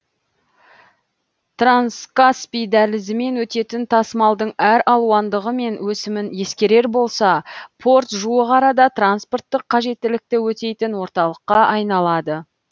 транскаспий дәлізімен өтетін тасымалдың әр алуандығы мен өсімін ескерер болса порт жуық арада транспорттық қажеттілікті өтейтін орталыққа айналады